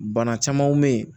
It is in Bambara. Bana camanw bɛ ye